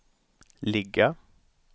ligga